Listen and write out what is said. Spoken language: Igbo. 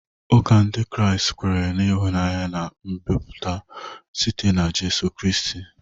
Ụka Ndị Kraịst kwere na ịhụnanya na mgbapụta site na Jizọs Kraịst.